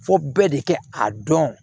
Fɔ bɛɛ de kɛ a dɔn